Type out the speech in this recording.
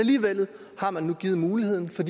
komme